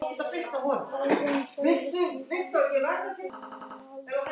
Herra Johnny, sjáðu, lestin er farin frá Norðurpólnum og stefnir á Ítalíu.